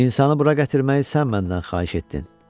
İnsanı bura gətirməyi sən məndən xahiş etdin.